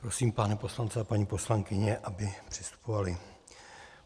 Prosím pány poslance a paní poslankyně, aby přistupovali.